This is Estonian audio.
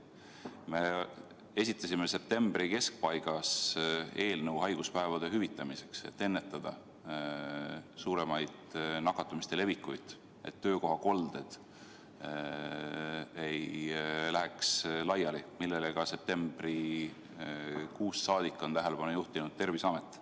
Me esitasime septembri keskpaigas eelnõu haiguspäevade hüvitamiseks, et ennetada suuremat nakatumise levikut, et töökohakolded ei läheks laiali, millele septembrikuust saadik on tähelepanu juhtinud ka Terviseamet.